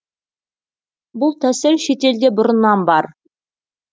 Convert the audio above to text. бұл тәсіл шетелде бұрыннан бар